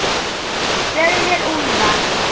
Rauðir úlfar